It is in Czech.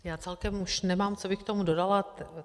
Já celkem už nemám, co bych k tomu dodala.